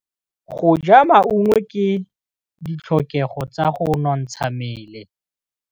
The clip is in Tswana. Go ja maungo ke ditlhokegô tsa go nontsha mmele.